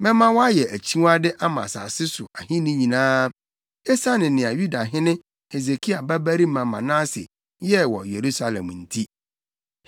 Mɛma wɔayɛ akyiwade ama asase so ahenni nyinaa, esiane nea Yudahene Hesekia babarima Manase yɛɛ wɔ Yerusalem nti.